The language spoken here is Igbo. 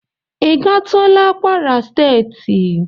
Ị gatula kwara steeti?